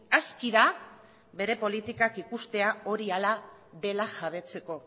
aski da bere politikak ikustea hori hala dela jabetzeko